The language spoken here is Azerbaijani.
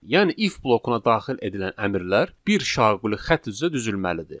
Yəni if blokuna daxil edilən əmrlər bir şaquli xətt üzrə düzəlməlidir.